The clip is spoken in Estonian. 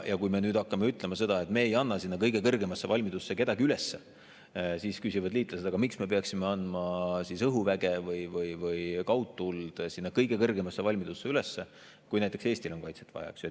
Kui me nüüd hakkame ütlema, et me ei anna kõige kõrgemasse valmidusse kedagi üles, siis küsivad liitlased, et aga miks me peaksime andma õhuväge või kaudtuld kõige kõrgemasse valmidusse üles, kui näiteks Eestil on kaitset vaja, eks.